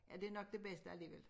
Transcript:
Ja det nok det bedste alligevel